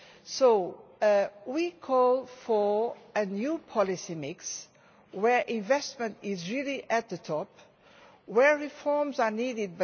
So we are calling for a new policy mix where investment is really at the top, where reforms are needed.